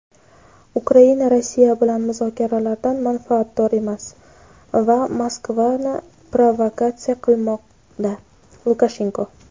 Ukraina Rossiya bilan muzokaralardan manfaatdor emas va Moskvani provokatsiya qilmoqda – Lukashenko.